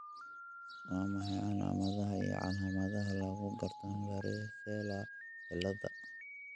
Waa maxay calaamadaha iyo calaamadaha lagu garto varicella ciladha?